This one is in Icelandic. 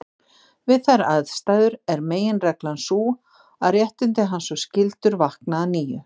Við þær aðstæður er meginreglan sú að réttindi hans og skyldur vakna að nýju.